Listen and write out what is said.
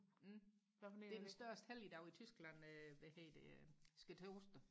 det er den største helligdag i Tyskland øh hvad hedder det skærtorsdag